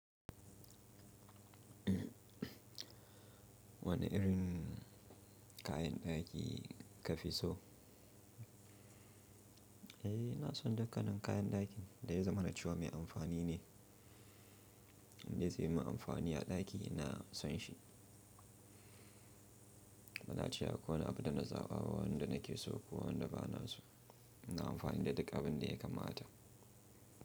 Wani irin kayan ɗaki kafi so? Eh, ina son dukkanin kayan ɗakin da ya zama na cewa mai amfani ne, indai zai yi min amfani a ɗaki na son shi. Banace akwai wani da na zaɓa a wanda nake so ko wanda ba na so. Ina amfani da duk abin da ya kamata.